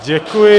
Děkuji.